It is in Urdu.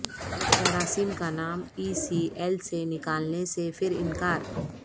ڈاکٹر عاصم کا نام ای سی ایل سے نکالنے سے پھر انکار